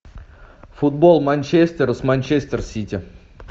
футбол манчестер с манчестер сити